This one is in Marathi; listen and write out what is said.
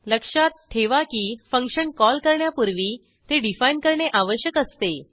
लक्षात ठेवा की फंक्शन कॉल करण्यापूर्वी ते डिफाईन करणे आवश्यक असते